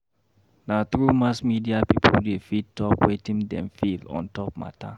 Na through mass media pipo dey fit talk wetin dem feel on-top mata.